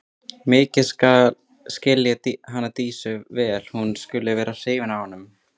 Mikið skil ég hana Dísu vel að hún skuli vera hrifin af honum.